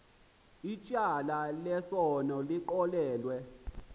ityala lesono lixolelwe